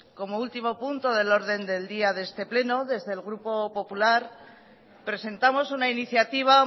como último punto del orden del día de este pleno desde el grupo popular presentamos una iniciativa